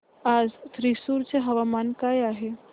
आज थ्रिसुर चे हवामान काय आहे